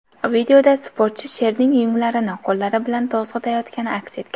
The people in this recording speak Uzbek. Videoda sportchi sherning yunglarini qo‘llari bilan to‘zg‘itayotgani aks etgan.